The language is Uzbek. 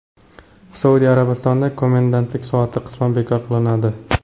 Saudiya Arabistonida komendantlik soati qisman bekor qilinadi.